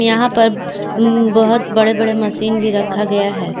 यहां पर बहुत बड़े बड़े मशीन भी रखा गया है।